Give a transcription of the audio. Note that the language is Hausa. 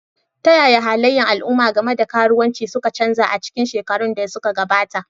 Ta yaya halayen al'umma game da karuwanci suka canza a cikin shekarun da suka gabata?